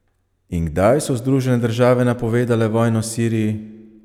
In kdaj so Združene države napovedale vojno Siriji?